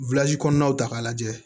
kɔnɔnaw ta k'a lajɛ